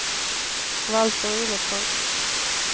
Valter Olofsson